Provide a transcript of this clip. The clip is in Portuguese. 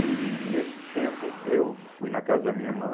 E nesse tempo eu fui na casa da minha irmã.